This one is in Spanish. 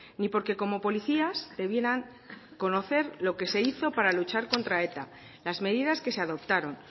ni porque como policías debieran conocer lo que se hizo para luchar contra eta las medidas que se adoptaron